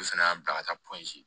Olu fana y'a bila ka taa